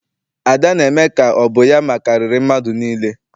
Ada na-eme ka ọ bụ ya makariri mmadụ niile.